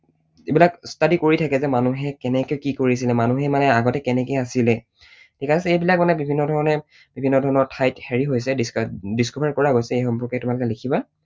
যিবিলাক study কৰি থাকে যে মানুহে কেনেকৈ কি কৰিছিলে, মানুহে মানে আগতে কেনেকৈ আছিলে, ঠিক আছে, সেইবিলাক মানে বিভিন্ন ধৰণে, বিভিন্ন ধৰণৰ ঠাইত হেৰি হৈছে, discover কৰা গৈছে, সেই সম্পৰ্কে তোমালোকে লিখিবা।